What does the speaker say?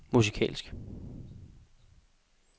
musikalsk